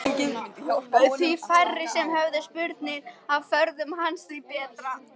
Því færri sem höfðu spurnir af ferðum hans því betra.